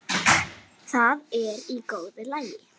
Það er í góðu lagi,